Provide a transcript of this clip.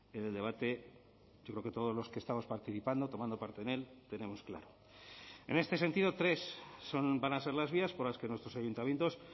en el debate yo creo que todos los que estamos participando tomando parte en él tenemos claro en este sentido tres son van a ser las vías por las que nuestros ayuntamientos